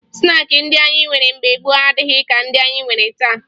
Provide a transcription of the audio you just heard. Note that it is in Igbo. Snaakị ndị anyị nwere mbge gboo adịghị ka ndị anyị nwere taa